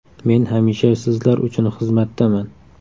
Men hamisha sizlar uchun xizmatdaman.